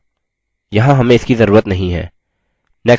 next button पर click करें